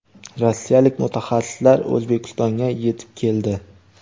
rossiyalik mutaxassislar O‘zbekistonga yetib keldi.